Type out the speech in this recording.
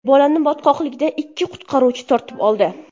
Bolani botqoqlikdan ikki qutqaruvchi tortib oldi.